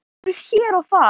Hálkublettir hér og þar